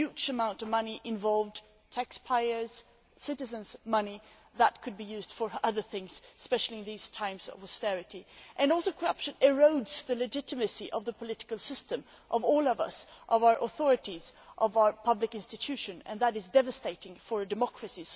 there are huge amounts of money involved taxpayers' money, citizens' money that could be used for other things, especially in these times of austerity. Corruption also erodes the legitimacy of the political system of all of us, of our authorities and of our public institutions, and that is devastating for a democracy.